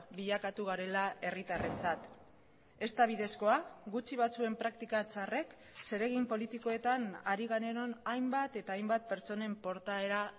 bilakatu garela herritarrentzat ez da bidezkoa gutxi batzuen praktika txarrek zeregin politikoetan ari garenon hainbat eta hainbat pertsonen portaera